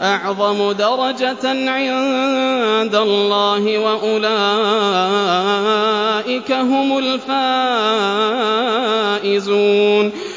أَعْظَمُ دَرَجَةً عِندَ اللَّهِ ۚ وَأُولَٰئِكَ هُمُ الْفَائِزُونَ